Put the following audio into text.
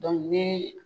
ni